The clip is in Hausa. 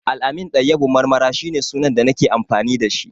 Al-amin Dayyabu Marmara shi ne sunan da nake amfani da shi